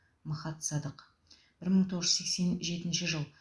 махат садық бір мың тоғыз жүз сексен жетінші жыл